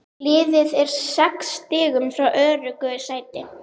Liðið er sex stigum frá öruggu sæti.